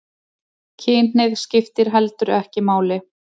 Kynhneigð skiptir heldur ekki máli